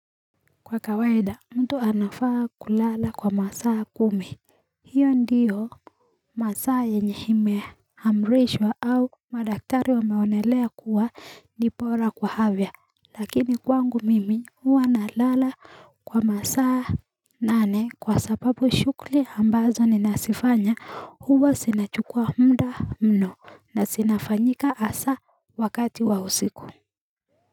Kwa kawaida mtu anafaa kulala kwa masaa kumi hiyo ndiyo masaa yenye ime amrishwa au madaktari wameonelea kuwa ni bora kwa afya lakini kwangu mimi huwa na lala kwa masaa nane kwa sababu shughuli ambazo ninazifanya huwa zina chukua muda mno na zinafanyika hasa wakati wa usiku.